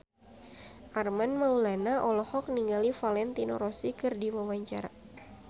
Armand Maulana olohok ningali Valentino Rossi keur diwawancara